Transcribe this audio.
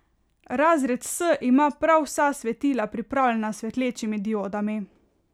Razred S ima prav vsa svetila pripravljena s svetečimi diodami.